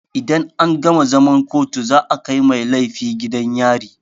Idan an gama zaman kotu za a kai mai laifi gidan yari.